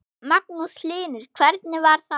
Magnús Hlynur: Hvernig var það?